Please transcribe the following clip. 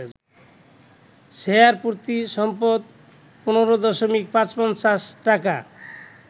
শেয়ারপ্রতি সম্পদ ১৫.৫৫ টাকা